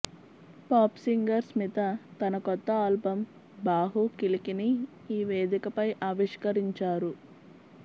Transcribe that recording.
pop singer Smita తన కొత్త album బాహు కిలికిని ఈ వేదికపై ఆవిష్కరించారు